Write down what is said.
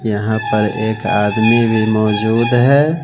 यहां पर एक आदमी भी मौजूद है।